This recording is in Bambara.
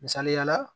Misaliyala